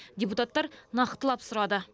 депутаттар нақтылап сұрады